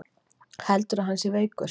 Heldurðu að hann sé veikur?